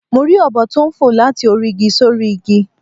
Mo rí ọ̀bọ tó n fò láti orí igi sórí igi